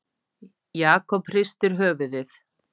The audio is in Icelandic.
Jakob hristi höfuðið.